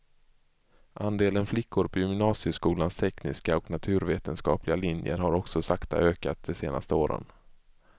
Andelen flickor på gymnasieskolans tekniska och naturvetenskapliga linjer har också sakta ökat de senaste åren.